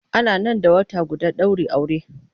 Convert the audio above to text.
Ana nan da wata guda daurin aure.